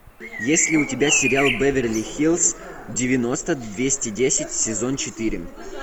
есть ли у тебя сериал беверли хиллз девяносто двести десять сезон четыре